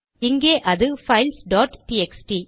இங்கே அது files dot TXT